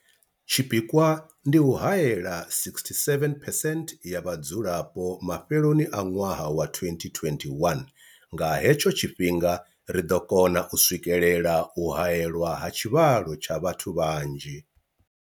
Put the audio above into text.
Tshipikwa ndi u haela 67 percent ya vhadzulapo mafheloni a ṅwaha wa 2021. Nga he tsho tshifhinga ri ḓo kona u swikelela u haelwa ha tshivhalo tsha vhathu vhanzhi.